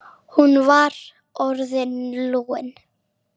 Hún var orðin lúin.